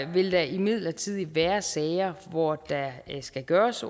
vil der imidlertid være sager hvor der skal gøres